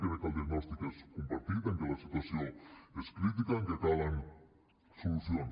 crec que el diagnòstic és compartit que la situació és crítica que calen solucions